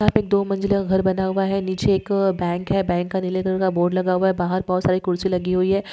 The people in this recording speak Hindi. यहा पे एक दो मंजिली का घर बना हुआ है नीचे एक बैंक है बैंक का नीले कलर का बोर्ड लगा हुआ है बाहर बहुत सारे कुर्सी लगी हुई है।